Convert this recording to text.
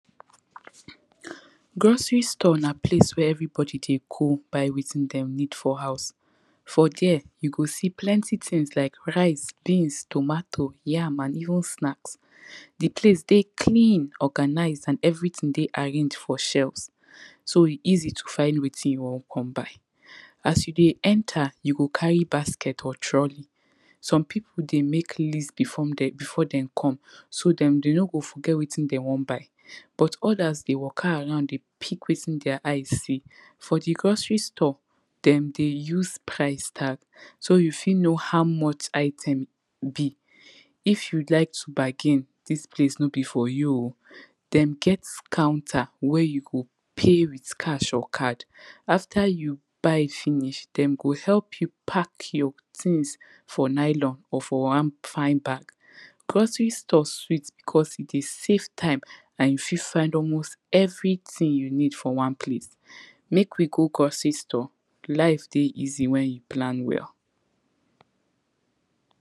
Grocery store na place where everybody dey go buy wetin dem need for house, for dere you go see plenty tins like rice, beans, tomato, yam and even snacks. Di place dey clean organise and everytin dey arranged for shelves, so e easy to find wetin you wan come buy, as you dey enter you go carry basket or trolley, some pipu dey make list before dem, before dem come so dem no go forget wetin dem wan come buy. But odas dey go around dey pick wetin dia eye see, for di grocery store dem dey use price tag so you fit know how much item be, if you like to bargain dis place no be for you oh, dem get counter wey you go pay with cash or card, after you buy finish dem go help you pack your tins for nylon or for one fine bag. Grocery store sweet becos e dey save time and you fit find almost everything you need for one place, make we go grocery store life dey easy wen you plan well.